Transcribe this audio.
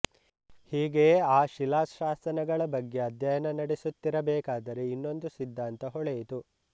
ಹೀಗೆಯೇ ಆ ಶಿಲಾಶಾಸನಗಳ ಬಗ್ಗೆ ಅಧ್ಯಯನ ನಡೆಸುತ್ತಿರಬೇಕಾದರೆ ಇನ್ನೊಂದು ಸಿದ್ಧಾಂತ ಹೊಳೆಯಿತು